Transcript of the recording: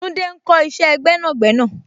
Tunde ń kọ isẹ gbẹ́nàgbẹ́nà.